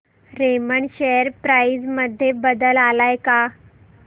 Raymond share price मध्ये बदल आलाय का